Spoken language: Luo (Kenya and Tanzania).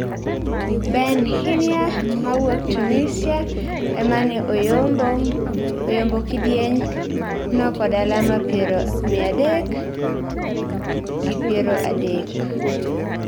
Ben Hnia mawuok Tunisia emane oyombe kidieny' no kod alama piero mia adek gi piero adek.